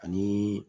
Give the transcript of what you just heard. Ani